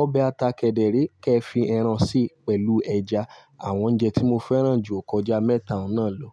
Ọbẹ̀ ata kẹ̀dẹ̀ríé kẹ́ẹ fi ẹran síi pẹ̀lú ẹja. Àwọn oúnjẹ tí mo fẹ́ràn jù ò kọjá mẹ́ta náà lọ.